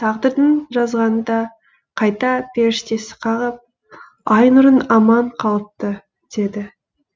тағдырдың жазғаны да қайта періштесі қағып айнұрың аман қалыпты деді